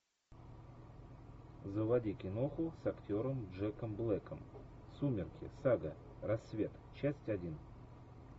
заводи киноху с актером джеком блэком сумерки сага рассвет часть один